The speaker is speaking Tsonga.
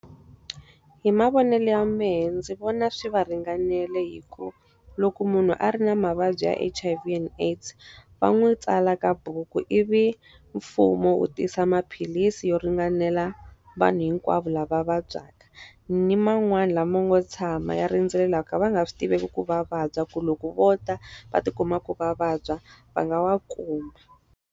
Hi mavonelo ya mehe ndzi vona swi va ringanele hikuva loko munhu a ri na mavabyi ya H_I_V and AIDS, va n'wi tsala ka buku ivi mfumo wu tisa maphilisi yo ringanela vanhu hinkwavo lava vabyaka. Ni man'wani lama ngo tshama ya rindzele lava ka va nga swi tiveki ku va vabya, ku loko vo tala va ti kuma ku va vabya, va nga wa kuma.